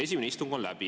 Esimene istung on läbi.